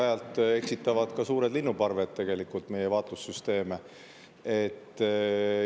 Aeg-ajalt eksitavad ka suured linnuparved meie vaatlussüsteeme.